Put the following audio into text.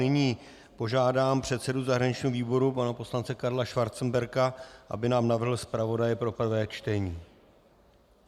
Nyní požádám předsedu zahraničního výboru, pana poslance Karla Schwarzenberga, aby nám navrhl zpravodaje pro prvé čtení.